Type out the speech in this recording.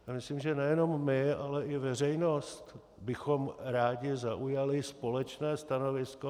Já myslím, že nejenom my, ale i veřejnost bychom rádi zaujali společné stanovisko.